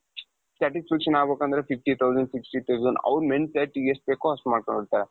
satisfaction ಅಗ್ಬೇಕಂದ್ರೆ fifty thousand sixty thousand ಅವರ mind set ಎಷ್ಟ್ ಬೇಕೋ ಅಷ್ಟ್ ಮಾಡ್ಕೊಂಡಿರ್ತಾರೆ.